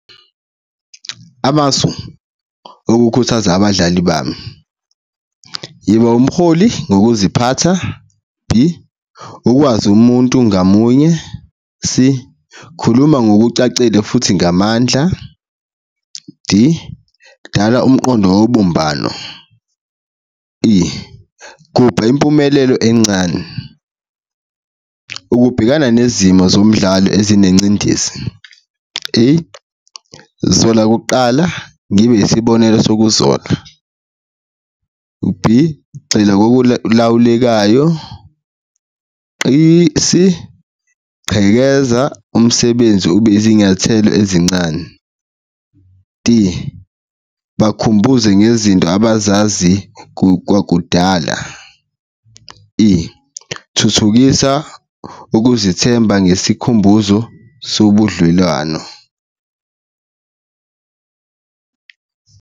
Amasu okukhuthaza abadlali bami yiba umholi ngokuziphatha, B, ukwazi umuntu ngamunye, C, khuluma ngokucacile futhi ngamandla, D, dala umqondo wobumbano, E, gubha impumelelo encane. Ukubhekana nezimo zomdlali ezinengcindezi, A, zola kuqala ngibe isibonelo sokuzola, B, gxila kokulawulekayo , C, chekezisa umsebenzi ube izinyathelo ezincane, D, bakhumbuze ngezinto abazazi kwakudala, E, thuthukisa ukuzithemba ngesikhumbuzo sobudlwelwano.